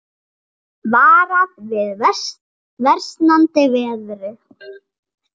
Varað við versnandi veðri